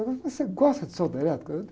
mas você gosta de solda elétrica?